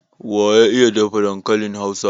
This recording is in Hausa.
Waya iya dafa dankalin Hausa?